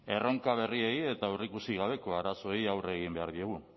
erronka berriei eta aurreikusi gabeko arazoei aurre egin behar diegu